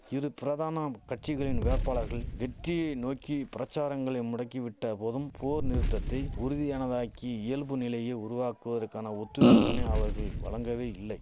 இரு பிரதானம் கட்சிகளின் வேட்பாளர்கள் வெற்றியை நோக்கி பிரச்சாரங்களை முடக்கிவிட்ட போதும் போர் நிறுத்தத்தை உறுதியானதாக்கி இயல்பு நிலையை உருவாக்குவதற்கான ஒத்துழைப்பினை அவர்கள் வழங்கவே இல்லை